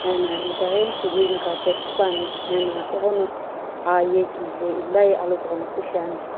ena itaghi green carpet süpuani ena ighono aa ye kije illai alokughunopu shiani.